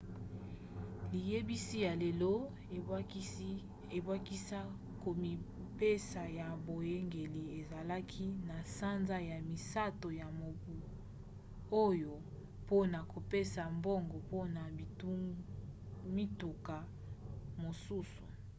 liyebisi ya lelo ebakisa komipesa ya boyangeli esalaki na sanza ya misato ya mobu oyo mpona kopesa mbongo mpona mituka mosusu